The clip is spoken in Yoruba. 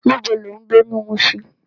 Nibó ló n gbé ni Mushin?